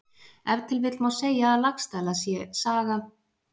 Ef til vill má segja að Laxdæla saga sé hin dæmigerða Íslendingasaga.